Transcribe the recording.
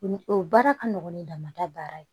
O ni o baara ka nɔgɔn ni damada baara ye